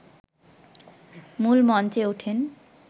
মূল মঞ্চে ওঠেন